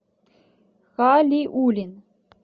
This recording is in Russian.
халиулин